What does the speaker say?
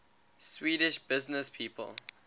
swedish businesspeople